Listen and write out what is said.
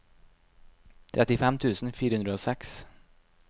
trettifem tusen fire hundre og seks